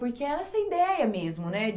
Porque era essa ideia mesmo, né?